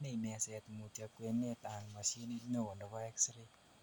bunei meset mutyo kwenet an machinit neo nebo X ray